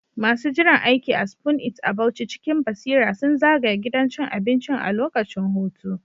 Masu jiran aiki a Spoon It a Bauchi cikin basira sun zagaya gidan cin abincin a lokacin hutu.